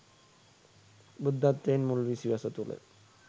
බුද්ධත්වයෙන් මුල් විසිවස තුළ